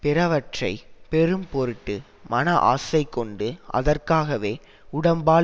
பிறவற்றைப் பெறும் பொருட்டு மன ஆசை கொண்டு அதற்காகவே உடம்பால்